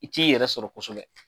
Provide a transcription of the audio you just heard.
I t'i yɛrɛ sɔrɔ kosɛbɛ.